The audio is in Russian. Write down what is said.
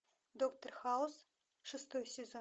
доктор хаус шестой сезон